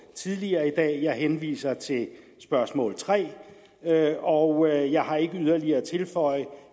tidligere i dag jeg henviser til spørgsmål tredje og jeg har ikke yderligere at tilføje